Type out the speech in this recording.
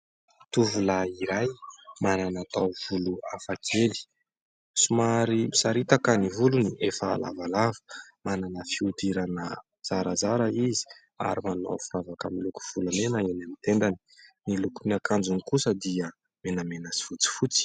Tovolahy iray manana tahovolo hafakely somary misaritaka ny volony efa lavalava manana fiodirana zarazara izy ary manao firavaka miloko volamena eny amin'ny tendany. Ny lokon'ny akanjony kosa dia menamena sy fotsifotsy